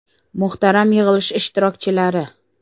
Muhtaram yig‘ilish ishtirokchilari!